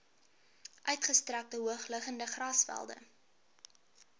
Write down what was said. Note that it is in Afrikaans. uitgestrekte hoogliggende grasvelde